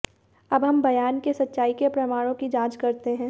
अब हम बयान के सच्चाई के प्रमाणों की जांच करते हैं